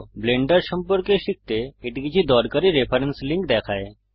Blender সম্পর্কে শিখতে এটি কিছু দরকারী রেফারেন্স লিংক দেখায়